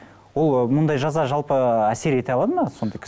ол мұндай жаза жалпы әсер ете алады ма сондай